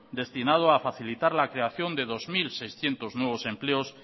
destinado a facilitar la creación de dos mil seiscientos nuevos empleos